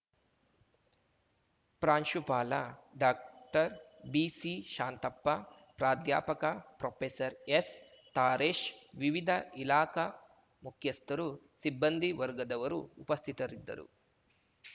ಪ್ರಾಂಶುಪಾಲ ಡಾಕ್ಟರ್ಬಿಸಿಶಾಂತಪ್ಪ ಪ್ರಾಧ್ಯಾಪಕ ಪ್ರೊಪೆಸರ್ಎಸ್‌ತಾರೇಶ್‌ ವಿವಿಧ ಇಲಾಖಾ ಮುಖ್ಯಸ್ಥರು ಸಿಬ್ಬಂದಿ ವರ್ಗದವರು ಉಪಸ್ಥಿತರಿದ್ದರು